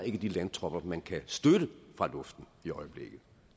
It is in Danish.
ikke de landtropper man kan støtte fra luften